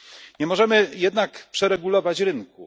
Nie możemy jednak przeregulować rynku.